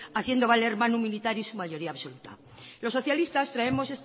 haciendo valer y su mayoría absoluta los socialistas traemos